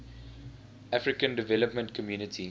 african development community